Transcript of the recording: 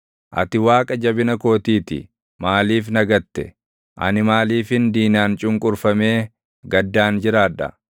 Ati Waaqa jabina kootii ti. Maaliif na gatte? Ani maaliifin diinaan cunqurfamee gaddaan jiraadha?